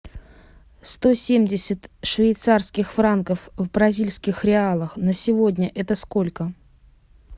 сто семьдесят швейцарских франков в бразильских реалах на сегодня это сколько